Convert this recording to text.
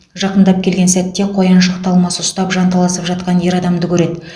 жақындап келген сәтте қояншық талмасы ұстап жанталасып жатқан ер адамды көреді